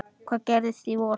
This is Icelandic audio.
Hvað gerist í vor?